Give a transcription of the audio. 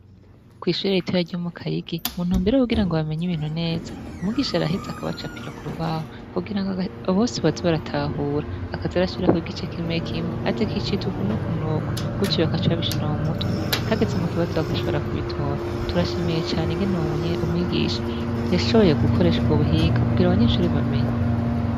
Kw'ishuri ritoya ryo mu Kayigi mu ntumbero yo kugira ngo bamenye ibintu neza, umwigisha araheza akabacapiro ku rubaho kugira ngo bose baze baratahura akaza arashirako igice kimwe kimwe ati iki citwa uku n'uku, gucyo bagaca babishira mu mutwe, hageze mu kibazo bagashobora kubitora, turashimiye cane ingene uyo mwigisha yashoboye gukoresha ubwo buhinga kugira abanyeshure bamenye.